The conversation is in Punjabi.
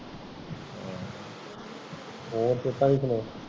ਹੋਰ ਤੂੰ ਪਾਈ ਸੁਣਾ